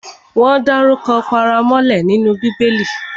Wọ́n dárukọ paramọ́lẹ nínú Bíbẹlì